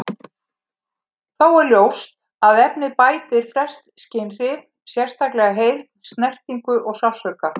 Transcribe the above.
Þó er ljóst að efnið bælir flest skynhrif, sérstaklega heyrn, snertingu og sársauka.